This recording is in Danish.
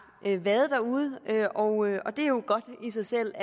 været derude og og det er jo i sig selv